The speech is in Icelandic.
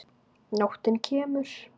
Nóttin kemur.